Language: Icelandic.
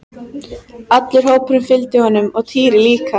Allur hópurinn fylgdi honum og Týri líka!